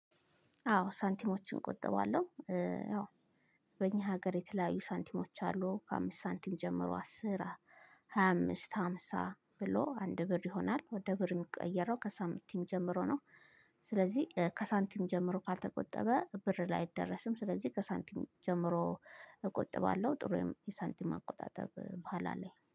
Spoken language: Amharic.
አዎ ሳንቲሞችን እቆጥባለሁ። ኧ ያው በእኛ ሀገር የተለያዩ ሳንቲሞች አሉ ከአምስት ሳንቲም ጀምሮ አስር ሃያ አምስት ሃምሳ ብሎ አንድ ብር ይሆናል ወደ ብር እሚቀየረው ከሳንቲም ጀምሮ ነው። ስለዚህ ኧ ከሳንቲም ጀምሮ ካልተቆጠበ ብር ላይ አይደረስም ስለዚህ ከሳንቲም ጀምሮ እቆጥባለሁ። ጥሩ የሳንቲም አቆጣጠብ ባህል አለኝ